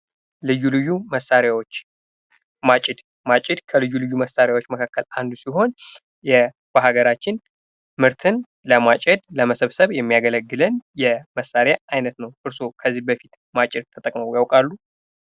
ልዩ ልዩ መሳሪያዎች ማጭድ ማጭድ ከልዩ ልዩ መሳሪያዎች መካከል አንዱ ሲሆን በሀገራችን ምርትን ለማጨር ለመሰብሰብ የሚያገለግለን የመሳሪያ አይነት ነው።